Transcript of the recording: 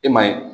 E maa ye